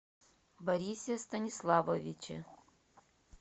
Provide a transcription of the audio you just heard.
борисе станиславовиче